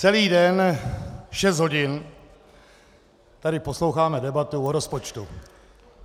Celý den, šest hodin tady posloucháme debatu o rozpočtu.